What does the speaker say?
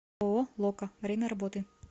ооо лока время работы